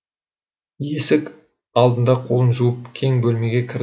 есік алдында қолын жуып кең бөлмеге кірдік